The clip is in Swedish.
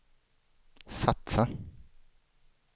satsa